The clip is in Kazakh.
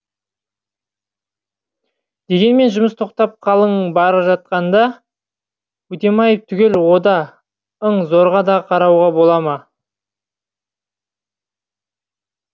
дегенмен жұмыс тоқтап қалың бара жатқанда өтемаев түгелі ода ң зорға да қарауға бола ма